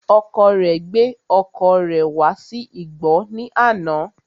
Ọkọ rẹ gbé ọkọ̀ rẹ̀ wá sí igbọ́ ní àná